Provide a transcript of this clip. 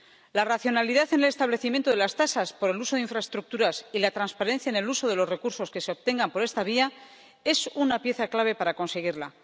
La racionalidad en el establecimiento de las tasas por el uso de infraestructuras y la transparencia en el uso de los recursos que se obtengan por esta vía son una pieza clave para conseguirla.